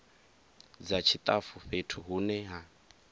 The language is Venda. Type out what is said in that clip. dza tshitafu fhethu hune ha